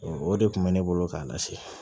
O de kun bɛ ne bolo k'a lase